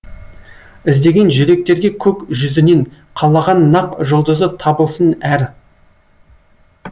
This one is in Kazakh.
іздеген жүректерге көк жүзінен қалаған нақ жұлдызы табылсын әр